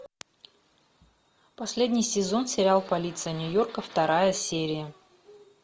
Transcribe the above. последний сезон сериал полиция нью йорка вторая серия